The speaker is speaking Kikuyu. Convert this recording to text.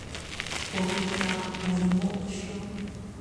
Kũgitĩra mũrimũ ũcio